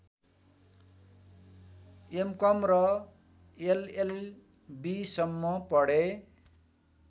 MCom र एलएलबीसम्म पढे